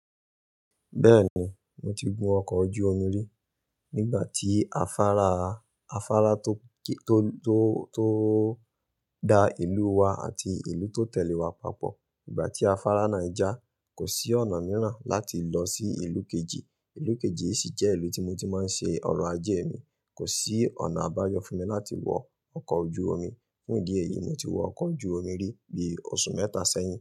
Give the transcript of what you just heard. Bẹ́ẹ̀ni, mo ti gun ọkọ̀ ojú omi rí. Nígbà tí afárá, afárá tó, tó, tó, tó da ìlú wa àti ìlú tó tẹ̀lé wa papọ̀. Nígbà tí afárá náà já, kò sí ọ̀nà mìíràn láti lọ sí ìlú kejì. Ìlú kejì sì jẹ́ ìlú tí mo ti máa ń ṣe ọrọ̀ ajé mi. Kò sí ọ̀nà àbáyọ fún mi láti wọ ọkọ̀ ojú omi. Fún ìdí èyí, mo ti wọ ọkọ̀ ojú omi rí bí oṣù mẹ́ta sẹ́yìn.